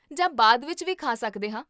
ਜਾਂ ਬਾਅਦ ਵਿੱਚ ਵੀ ਖਾ ਸਕਦੇ ਹਾਂ